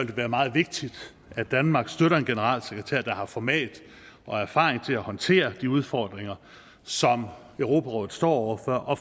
det være meget vigtigt at danmark støtter en generalsekretær der har format og erfaring til at håndtere de udfordringer som europarådet står over for og